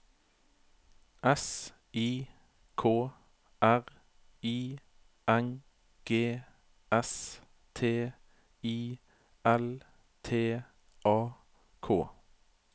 S I K R I N G S T I L T A K